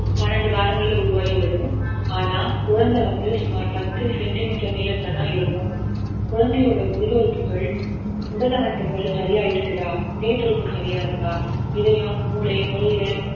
பன்னிரண்டு வாரங்கள்ல உருவாகிவிடும் ஆனா குழந்தை வந்து சுமார் பத்து centimeter நீளத்துல தான் இருக்கும் குழந்தையோட உள் உறுப்புக்கள் உடலமைப்புக்கள் சரியா இருக்குதா இதயத்துடிப்பு சரியா இருக்கா இதயம் மூளை நுரையீரல்